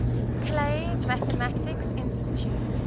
clay mathematics institute